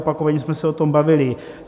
Opakovaně jsme se o tom bavili.